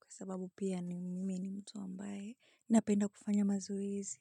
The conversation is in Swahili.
kwa sababu pia mimi ni mtu ambaye napenda kufanya mazoezi.